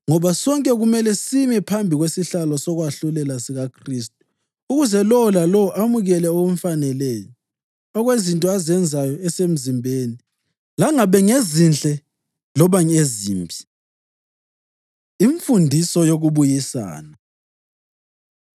Ngoba sonke kumele sime phambi kwesihlalo sokwahlulela sikaKhristu ukuze lowo lalowo amukele okumfaneleyo, okwezinto azenzayo esemzimbeni, langabe ngezinhle loba ezimbi. Imfundiso Yokubuyisana